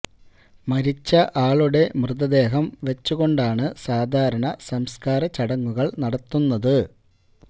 മരിച്ച ആളുടെ മൃതദേഹം വെച്ചു കൊണ്ടാണ് സാധാരണ സംസ്കാര ചടങ്ങുകള് നടത്തുന്നത്